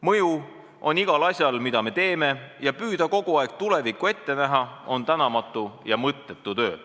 "Mõju on igal asjal, mida me teeme, ja püüda kogu aeg tulevikku ette näha on tänamatu ja mõttetu töö.